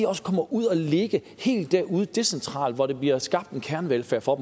også kommer ud at ligge helt derude decentralt hvor der bliver skabt en kernevelfærd for